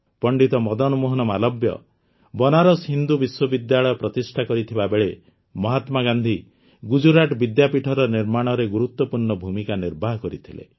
ପଣ୍ଡିତ୍ ମଦନ ମୋହନ ମାଲବ୍ୟ ବନାରସ୍ ହିନ୍ଦୁ ବିଶ୍ୱବିଦ୍ୟାଳୟ ପ୍ରତିଷ୍ଠା କରିଥିବା ବେଳେ ମହାତ୍ମା ଗାନ୍ଧି ଗୁଜରାଟ ବିଦ୍ୟାପୀଠର ନିର୍ମାଣରେ ଗୁରୁତ୍ୱପୂର୍ଣ୍ଣ ଭୂମିକା ନିର୍ବାହ କରିଥିଲେ